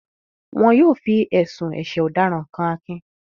Wọn yóò fi ẹ̀sùn ẹ̀sẹ̀ ọ̀daràn kan Akin